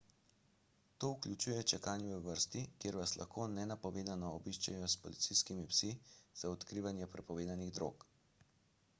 to vključuje čakanje v vrsti kjer vas lahko nenapovedano obiščejo s policijskimi psi za odkrivanje prepovedanih drog